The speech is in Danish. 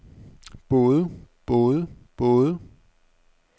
både både både